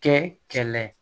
Kɛ kɛlɛ